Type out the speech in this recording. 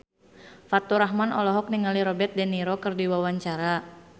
Faturrahman olohok ningali Robert de Niro keur diwawancara